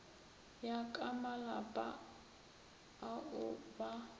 ya ka malapa ao ba